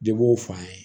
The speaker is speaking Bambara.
De b'o fɔ an ye